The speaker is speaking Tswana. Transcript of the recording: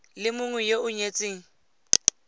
le mongwe yo o nyetseng